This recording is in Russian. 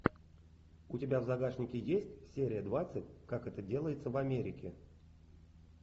у тебя в загашнике есть серия двадцать как это делается в америке